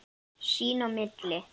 Sín á milli.